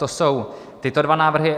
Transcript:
To jsou tyto dva návrhy.